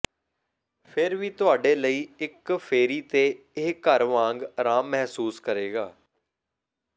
ਫਿਰ ਵੀ ਤੁਹਾਡੇ ਲਈ ਇਕ ਫੇਰੀ ਤੇ ਇਹ ਘਰ ਵਾਂਗ ਆਰਾਮ ਮਹਿਸੂਸ ਕਰੇਗਾ